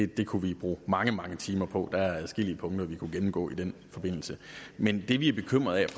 det kunne vi bruge mange mange timer på der er adskillige punkter vi kunne gennemgå i den forbindelse men det vi er bekymret